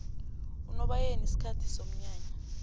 unobayeni sikhathi somnyanya